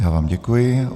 Já vám děkuji.